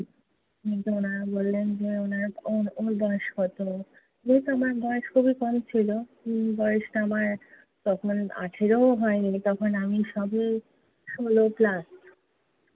তো ওনারা বললেন যে ওর বয়স কত? যেহেতু আমার বয়স খুবই কম ছিলো। হম বয়সটা আমার তখন আঠেরোও হয় নি। তখন আমি সবে ষোল plus